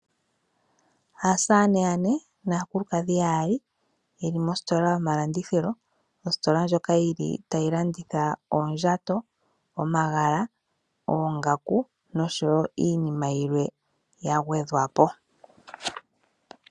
Aasamane yane naakulukadhi yaali ye li mositola yomalandithilo. Mositola ndjoka tayi landitha oondjato, omagala, oongaku noshowo iinima yilwe ya gwedhwa po.